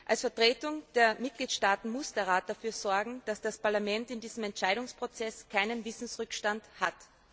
Als Vertretung der Mitgliedstaaten muss der Rat dafür sorgen, dass das Parlament in diesem Entscheidungsprozess keinen Wissensrückstand hat.